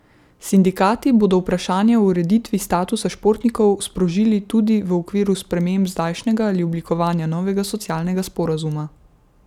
Sindikati bodo vprašanje o ureditvi statusa športnikov sprožili tudi v okviru sprememb zdajšnjega ali oblikovanja novega socialnega sporazuma.